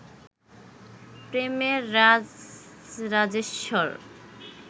প্রেমের রাজরাজেশ্বর